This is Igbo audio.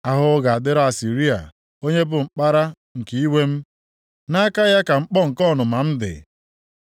“Ahụhụ ga-adịrị Asịrịa onye bụ mkpara nke iwe m. Nʼaka ya ka mkpọ nke ọnụma + 10:5 Maọbụ, oke iwe m dị.